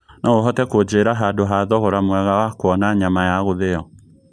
no ũhote kũnjĩra handũ ha thogora mwega wa kũona nyama ya gũthio